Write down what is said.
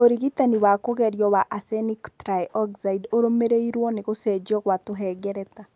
Ũrigitani wa kũgerio wa arsenic trioxide ũrũmĩrĩirũo nĩ gũcenjio kwa tũhengereta.